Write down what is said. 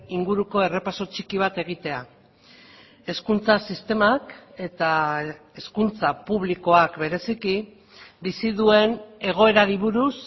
inguruko errepaso txiki bat egitea hezkuntza sistemak eta hezkuntza publikoak bereziki bizi duen egoerari buruz